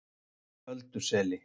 Ölduseli